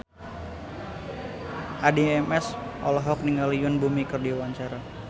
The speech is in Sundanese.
Addie MS olohok ningali Yoon Bomi keur diwawancara